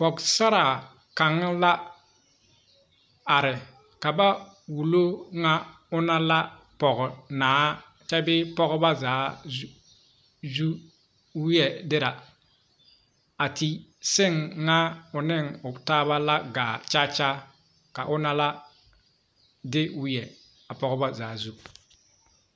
Pogesaraa kaŋ la are ka ba wullo ŋa o na la pognaa kyɛ bee pogeba zaa wiɛdirɛ a te seŋ ŋa o neŋ a pogetaaba la gaa kyakya ka o na la de wiɛ a pogeba zaa zu.